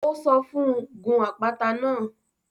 Ó sọ fún un; Gun àpáta náà